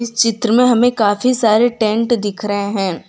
इस चित्र में हमें काफी सारे टेंट दिख रहे हैं।